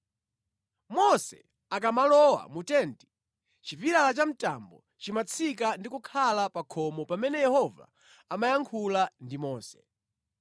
Mose akamalowa mu tenti, chipilala cha mtambo chimatsika ndi kukhala pa khomo pamene Yehova amayankhula ndi Mose.